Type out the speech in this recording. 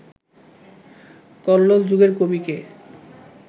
কল্লোল যুগের কবি কে